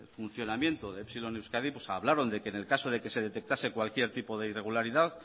funcionamiento de epsilon en euskadi pues hablaron de que en el caso de que se detectase cualquier tipo de irregularidad